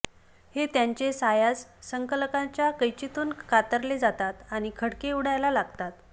हे त्याचे सायास संकलकांच्या कैचीतून कातरले जातात आणि खटके उडायला लागतात